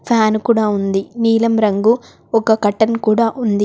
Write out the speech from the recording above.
Fan కుడా ఉంది నీలం రంగు ఒక కర్టెన్ కూడా ఉంది.